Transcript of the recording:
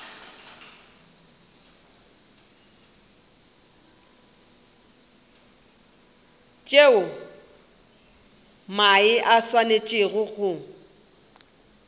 tšeo mae a swanetšego go